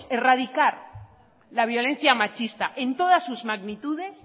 erradicar la violencia machista en todas sus magnitudes